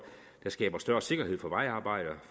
der skaber større sikkerhed for vejarbejdere